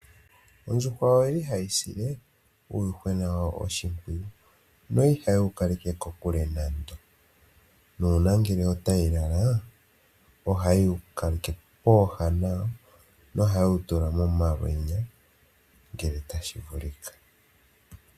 Ondjuhwa oyi li hayi sile uuyuhwena wayo oshimpwiyu nohayi kaleke kokule nayo, nuna ngele otayi lala ohaye wu kaleke pooha nayo nohayewu tula momalwenya ngele tashi vulika.